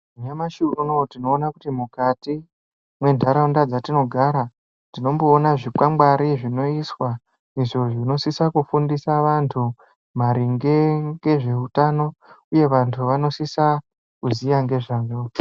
Nyamashi unowu tinoona kuti mukati mwentaraunda dzatinogara ,tinomboona zvikwangwari zvinoiswa, izvo zvinosisa kufundiswa vantu maringe ngezveutano, uye vantu vanosisa kuziya ngezvazvo.